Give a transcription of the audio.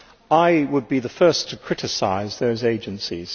I would be the first to criticise those agencies.